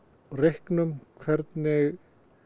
reyknum hvernig